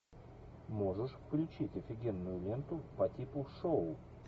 можешь включить офигенную ленту по типу шоу